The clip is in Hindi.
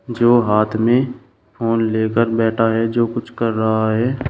जो हाथ में फोन लेकर बैठा है जो कुछ कर रहा है।